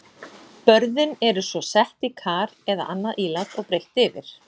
Börðin eru svo sett í kar eða annað ílát og breitt yfir.